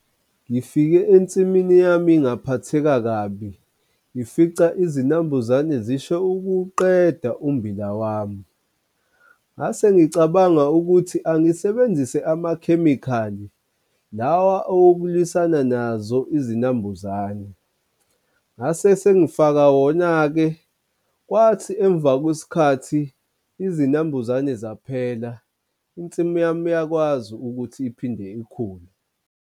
Ngifike ensimini yami ngaphatheka kabi, ngifica izinambuzane zisho ukuwuqeda umbila wami. Ngase ngicabanga ukuthi angisebenzise amakhemikhali lawa owokulwisana nazo izinambuzane. Ngase sengifaka wona-ke kwathi emva kwesikhathi izinambuzane zaphela, insimi yami yakwazi ukuthi iphinde ikhule.